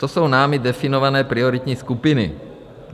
To jsou námi definované prioritní skupiny.